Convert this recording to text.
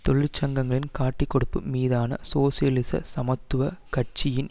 தொழிற்சங்கங்களின் காட்டிக்கொடுப்பு மீதான சோசியலிச சமத்துவ கட்சியின்